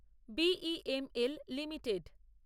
BEML limited